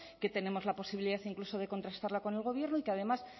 que tenemos la posibilidad incluso de contrastarla con el gobierno y que además